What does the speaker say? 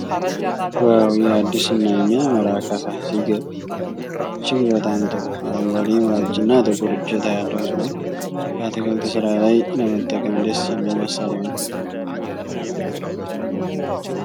ዋው! ይህ አዲስ እና የሚያምር አካፋ ሲገርም! እጅግ በጣም ጥሩ አረንጓዴ ምላጭና ጥቁር እጀታ ያለው ሲሆን፣ በአትክልት ስራ ላይ ለመጠቀም ደስ የሚል መሣሪያ ነው።